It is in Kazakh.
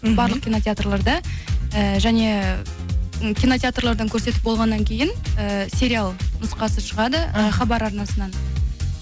барлық кинотеатрларда э және кинотеатрлардан көрсетіп болғаннан кейін э сериал нұсқасы шығады хабар арнасынан